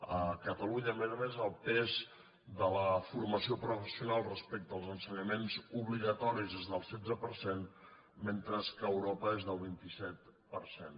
a catalunya a més a més el pes de la formació professional respecte als ensenyaments obligatoris és del setze per cent mentre que a europa és del vint set per cent